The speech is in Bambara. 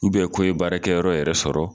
ko ye baara kɛyɔrɔ yɛrɛ sɔrɔ.